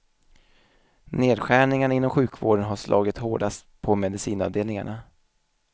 Nedskärningarna inom sjukvården har slagit hårdast på medicinavdelningarna.